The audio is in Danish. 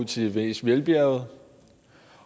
til de mest velbjærgede